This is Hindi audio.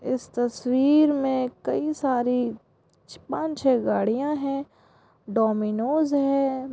इस तस्वीर में कई सारी छे पांच छे गाड़िया है डोमिनोस है।